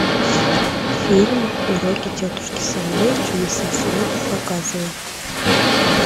фильм уроки тетушки совы чудеса света показывай